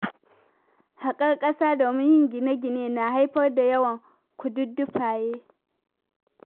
Haƙar ƙasa domin yin gine-gine na haifar da yawan kududdufaye.